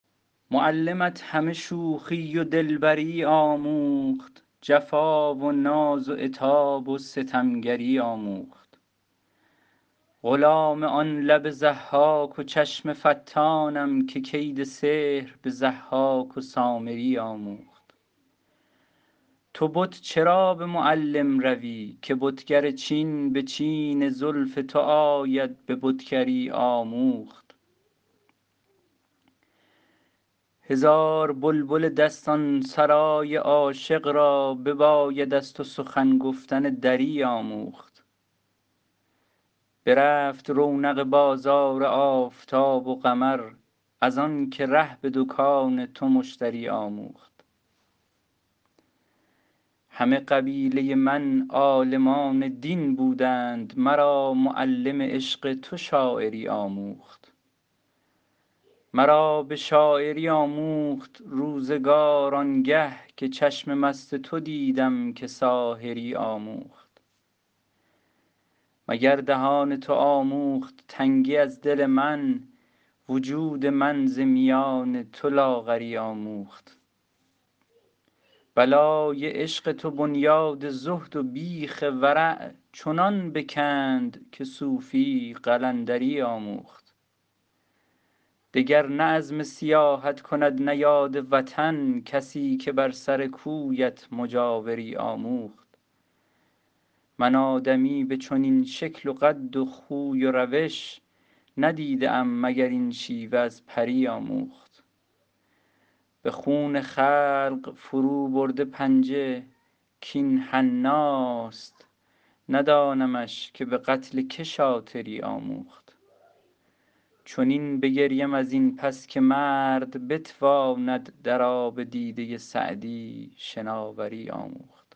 معلمت همه شوخی و دلبری آموخت جفا و ناز و عتاب و ستمگری آموخت غلام آن لب ضحاک و چشم فتانم که کید سحر به ضحاک و سامری آموخت تو بت چرا به معلم روی که بتگر چین به چین زلف تو آید به بتگری آموخت هزار بلبل دستان سرای عاشق را بباید از تو سخن گفتن دری آموخت برفت رونق بازار آفتاب و قمر از آن که ره به دکان تو مشتری آموخت همه قبیله من عالمان دین بودند مرا معلم عشق تو شاعری آموخت مرا به شاعری آموخت روزگار آن گه که چشم مست تو دیدم که ساحری آموخت مگر دهان تو آموخت تنگی از دل من وجود من ز میان تو لاغری آموخت بلای عشق تو بنیاد زهد و بیخ ورع چنان بکند که صوفی قلندری آموخت دگر نه عزم سیاحت کند نه یاد وطن کسی که بر سر کویت مجاوری آموخت من آدمی به چنین شکل و قد و خوی و روش ندیده ام مگر این شیوه از پری آموخت به خون خلق فروبرده پنجه کاین حناست ندانمش که به قتل که شاطری آموخت چنین بگریم از این پس که مرد بتواند در آب دیده سعدی شناوری آموخت